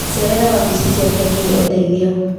Cerera wabici cia bengi nĩ ũteithio.